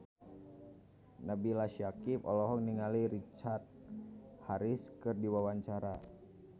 Nabila Syakieb olohok ningali Richard Harris keur diwawancara